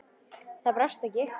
Það brást ekki.